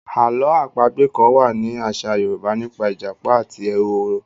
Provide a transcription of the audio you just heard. Àló̩ àpagbè kán wá ní àṣà Yorùbá nípa ìjàpá àti ehoro.